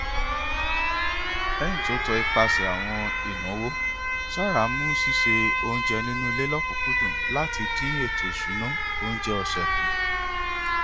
lẹyìn ti o tọ ipasẹ àwọn ináwó sarah mu ṣíṣe oúnjẹ nínú ilé lọkùnkúndùn láti dín ètòisúnà oúnjẹ ọsẹ kù